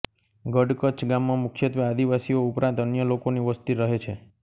ગડકચ્છ ગામમાં મુખ્યત્વે આદિવાસીઓ ઉપરાંત અન્ય લોકોની વસ્તી રહે છે